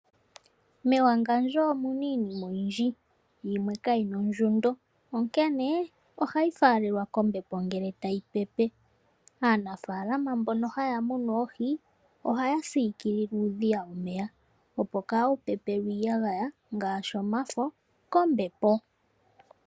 Mewangandjo omuna iinima oyindji, yimwe kayina ondjundo onkene ohayi faalelwa kombepo ngele tayi pepe. Aanafaalama mbono mba haya munu oohi ohaya siikilile uudhiya womeya, opo kaawu pepelwe iiyagaya ngaashi omafo kombepo.